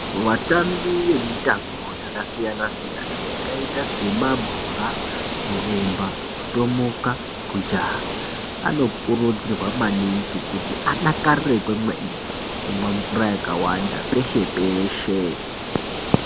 Vatambi vemitambo yakasiyana- siyana, yakaita semabhora, kurumba, kutomuka, kujaha, anokurudzirwa maningi kuti adakarire kwemene, kumwa mvura yakawanda peshe-peshe.